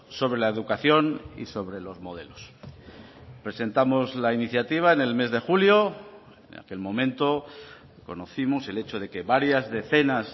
sobre la educación y sobre los modelos presentamos la iniciativa en el mes de julio en aquel momento conocimos el hecho de que varias decenas